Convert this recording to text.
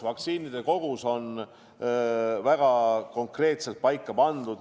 Vaktsiinide kogus on väga konkreetselt paika pandud.